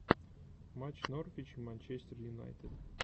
матч норвич и манчестер юнайтед